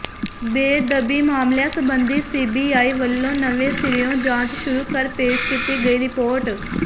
ਬੇਅਦਬੀ ਮਾਮਲਿਆਂ ਸਬੰਧੀ ਸੀਬੀਆਈ ਵੱਲੋਂ ਨਵੇਂ ਸਿਰਿਓਂ ਜਾਂਚ ਸ਼ੁਰੂ ਕਰ ਪੇਸ਼ ਕੀਤੀ ਗਈ ਰਿਪੋਰਟ